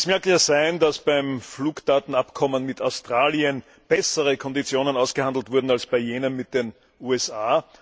Es mag ja sein, dass beim Fluggastdatenabkommen mit Australien bessere Konditionen ausgehandelt wurden als bei jenem mit den USA.